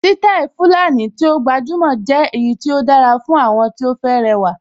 Sítáì Fulani tí ó gbajúmọ̀ jẹ́ èyí tí ó dára fún àwọn tí ó fẹ́ rẹwà